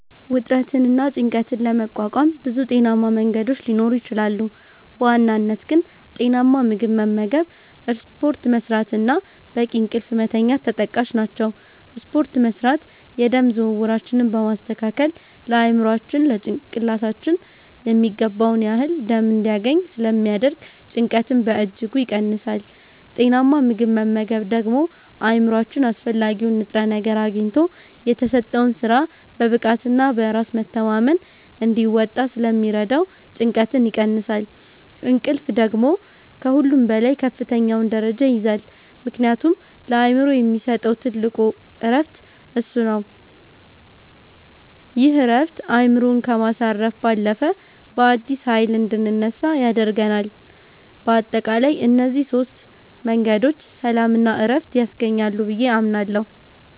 ውጥረትንና ጭንቀትን ለመቋቋም ብዙ ጤናማ መንገዶች ሊኖሩ ይችላሉ፤ በዋናነት ግን ጤናማ ምግብ መመገብ፣ ስፖርት መስራት እና በቂ እንቅልፍ መተኛት ተጠቃሽ ናቸው። ስፖርት መስራት የደም ዝውውራችንን በማስተካከል ለአእምሯችን (ጭንቅላታችን) የሚገባውን ያህል ደም እንዲያገኝ ስለሚያደርግ ጭንቀትን በእጅጉ ይቀንሳል። ጤናማ ምግብ መመገብ ደግሞ አእምሯችን አስፈላጊውን ንጥረ ነገር አግኝቶ የተሰጠውን ሥራ በብቃትና በራስ መተማመን እንዲወጣ ስለሚረዳው ጭንቀትን ይቀንሳል። እንቅልፍ ደግሞ ከሁሉም በላይ ከፍተኛውን ደረጃ ይይዛል፤ ምክንያቱም ለአእምሮ የሚሰጠው ትልቁ ዕረፍት እሱ ነው። ይህ ዕረፍት አእምሮን ከማሳረፍ ባለፈ፣ በአዲስ ኃይል እንድንነሳ ያደርገናል። በአጠቃላይ እነዚህ ሦስት መንገዶች ሰላምና ዕረፍት ያስገኛሉ ብዬ አምናለሁ።